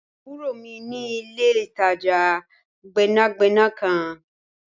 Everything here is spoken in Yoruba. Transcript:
Àburo mi ni ìle-itaja gbẹnagbẹna kan.